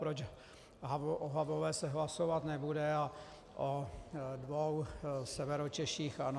Proč o Havlové se hlasovat nebude a o dvou Severočeších ano.